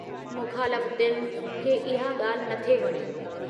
मुख़ालफ़तियुनि खे इहा ॻाल्हि नथे वणी।